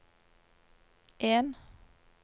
en